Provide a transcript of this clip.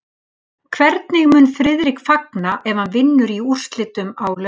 Hvernig mun Friðrik fagna ef hann vinnur í úrslitunum á laugardag?